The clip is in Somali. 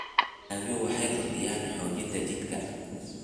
dalagyadu waxay kordhiyaan xoogga jidhka.